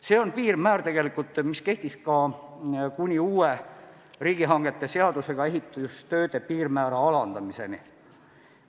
See on tegelikult sama piirmäär, mis kehtis kuni uue riigihangete seadusega ehitustööde piirmäära alandamiseni.